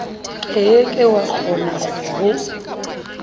ke ke wa kgona ho